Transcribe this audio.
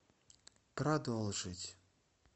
продолжить